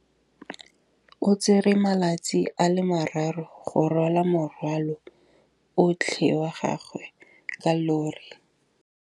O tsere malatsi a le marraro go rwala morwalo otlhe wa gagwe ka llori.